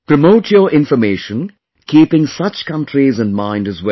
Promote your information keeping such countries in mind as well